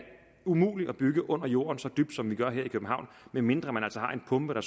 umuligt at bygge under jorden så dybt som vi gør her i københavn medmindre man altså har en pumpe der